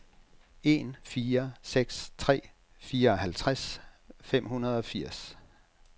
en fire seks tre fireoghalvtreds fem hundrede og firs